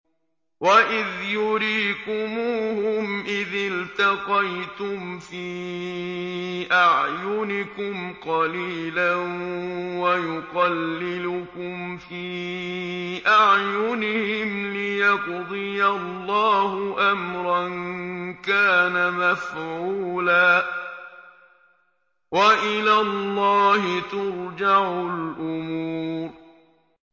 وَإِذْ يُرِيكُمُوهُمْ إِذِ الْتَقَيْتُمْ فِي أَعْيُنِكُمْ قَلِيلًا وَيُقَلِّلُكُمْ فِي أَعْيُنِهِمْ لِيَقْضِيَ اللَّهُ أَمْرًا كَانَ مَفْعُولًا ۗ وَإِلَى اللَّهِ تُرْجَعُ الْأُمُورُ